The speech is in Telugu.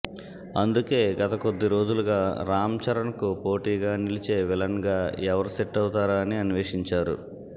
అందుకే గత కొద్దిరోజు లుగా రామ్చరణ్కు పోటీగా నిలిచే విలన్గా ఎవరు సెట్ అవుతారా అని అన్వేషించారు